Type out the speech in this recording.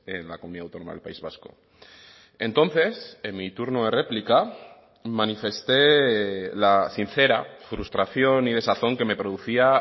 en la comunidad autónoma del país vasco entonces en mi turno de réplica manifesté la sincera frustración y desazón que me producía